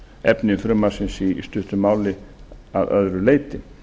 efni frumvarpsins í stuttu máli að öðru leyti